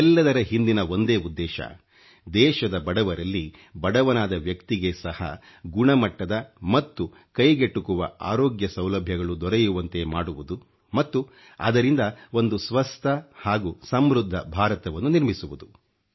ಇದೆಲ್ಲದರೆ ಹಿಂದಿನ ಒಂದೇ ಉದ್ದೇಶ ದೇಶದ ಬಡವರಲ್ಲಿ ಬಡವನಾದ ವ್ಯಕ್ತಿಗೆ ಸಹ ಗುಣಮಟ್ಟದ ಮತ್ತು ಕೈಗೆಟುಕುವ ಅರೋಗ್ಯ ಸೌಲಭ್ಯಗಳು ದೊರೆಯುವಂತೆ ಮಾಡುವುದು ಮತ್ತು ಅದರಿಂದ ಒಂದು ಸ್ವಸ್ಥ ಹಾಗೂ ಸಮೃದ್ಧ ಭಾರತವನ್ನು ನಿರ್ಮಿಸುವುದು